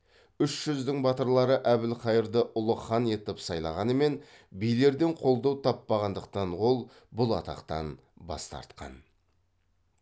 үш жүздің батырлары әбілқайырды ұлы хан етіп сайлағанымен билерден қолдау таппағандықтан ол бұл атақтан бас тартқан